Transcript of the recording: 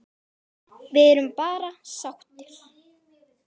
Við erum bara sáttir.